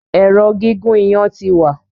Èrò gígùn iyan tí wá.